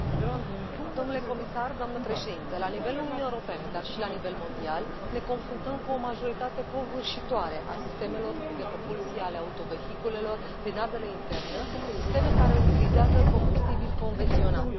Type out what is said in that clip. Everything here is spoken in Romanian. Doamnă președintă, domnule comisar, la nivelul Uniunii Europene, dar și la nivel mondial, ne confruntăm cu o majoritate covârșitoare a sistemelor de propulsie ale autovehiculelor prin ardere internă, sisteme care utilizează combustibili convenționali.